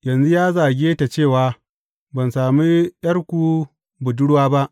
Yanzu ya zage ta cewa, Ban sami ’yarku budurwa ba.’